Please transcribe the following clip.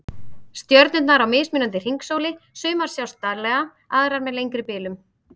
Stjörnurnar á mismunandi hringsóli, sumar sjást daglega, aðrar með lengri bilum